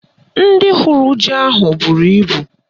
Ndị hụrụ ji ahụ n'ọkụ bụrụ ibu